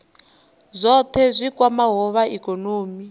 zwohe zwi kwamaho zwa ikonomi